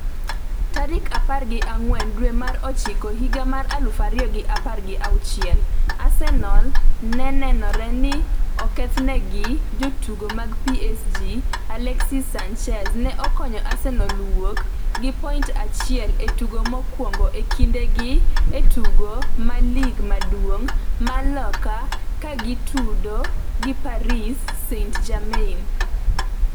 tarik apar gi ang'wen dwe mar ochiko higa mar aluf ariyo gi apar gi auchiel. Arsenal ne nenore ni okethnegi gi jotugo mag PSG Alexis Sanchez ne okonyo Arsenal wuok gi point achiel e tugo mokwongo e kinde gi e tugo ma lig maduong' mar Loka ka gitudo gi Paris St-Germain.